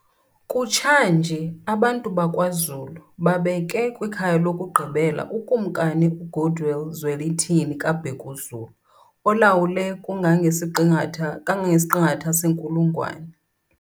Kutsha nje abantu bakwaZulu babeke kwikhaya lokugqibela uKumkani uGoodwill Zwelithini kaBhekuzulu olawule kangangesiqingatha senkulungwane.